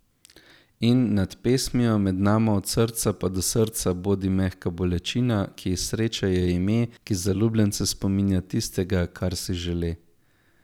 In, nad pesmijo, med nama od srca pa do srca blodi mehka bolečina, ki ji sreča je ime, ki zaljubljence spominja tistega, kar si žele ...